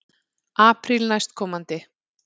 Apríl næstkomandi.